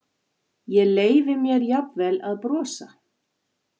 Ég leyfi mér jafnvel að brosa.